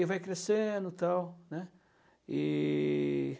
E vai crescendo e tal, né. E...